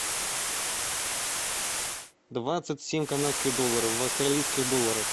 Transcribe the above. двадцать семь канадских долларов в австралийских долларах